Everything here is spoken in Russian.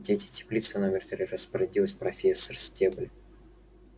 где эти теплицы номер три распорядилась профессор стебль